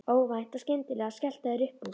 Óvænt og skyndilega skelltu þær upp úr.